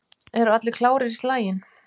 Eru allir klárir í slaginn?